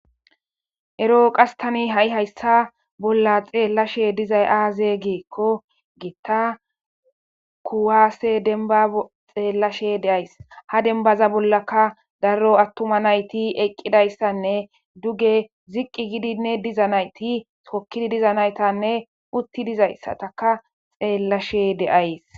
Ero qastani ha'i hayssa bolla xeellashe dizay aaze geekko gitta kuwaase denba xeellashe deays ha denbaza bollaka darro attuma nayti eqqidayssanne duge ziqqi gidinne diza nayti sokkidi diza naytanne utti dizayssataka xeellashe de'ays